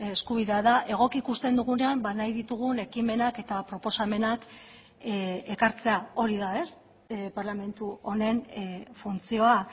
eskubidea da egoki ikusten dugunean nahi ditugun ekimenak eta proposamenak ekartzea hori da parlamentu honen funtzioa